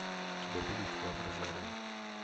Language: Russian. у тебя будет воображариум